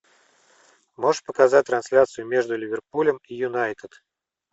можешь показать трансляцию между ливерпулем и юнайтед